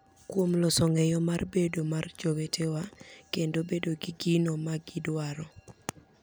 Kuom loso ng’eyo mar bedo mar jowetewa kendo bedo gi gino ma gidwaro.